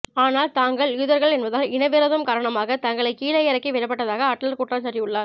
ஆனால் தாங்கள் யூதர்கள் என்பதால் இன விரோதம் காரணமாக தங்களை கீழே இறக்கி விடப்பட்டதாக அட்லர் குற்றஞ்சாட்டியுள்ளார்